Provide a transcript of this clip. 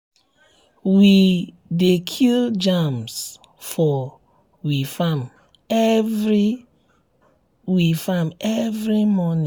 we dey kill germs for we farm every we farm every morning.